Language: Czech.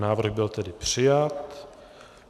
Návrh byl tedy přijat.